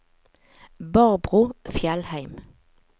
Barbro Fjellheim